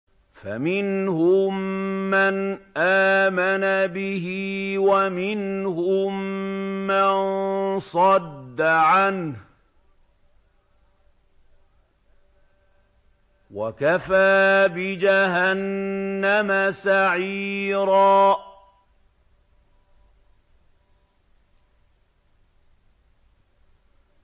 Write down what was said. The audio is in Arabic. فَمِنْهُم مَّنْ آمَنَ بِهِ وَمِنْهُم مَّن صَدَّ عَنْهُ ۚ وَكَفَىٰ بِجَهَنَّمَ سَعِيرًا